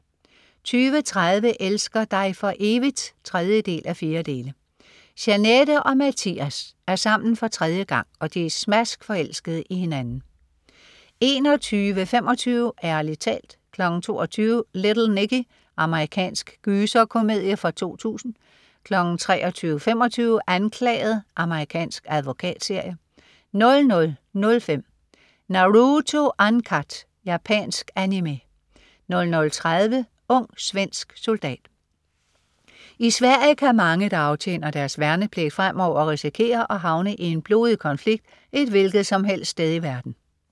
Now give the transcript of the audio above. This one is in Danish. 20.30 Elsker dig for evigt? 3:4. Jeanette og Matthias er sammen for tredje gang, og de er smaskforelskede i hinanden 21.25 Ærlig talt 22.00 Little Nicky. Amerikansk gyserkomedie fra 2000 23.25 Anklaget. Amerikansk advokatserie 00.05 Naruto Uncut. Japansk Animé 00.30 Ung svensk soldat. I Sverige kan mange, der aftjener deres værnepligt, fremover risikere at havne i en blodig konflikt et hvilketsomhelst sted i verden